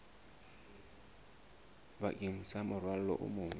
bakeng sa morwalo o mong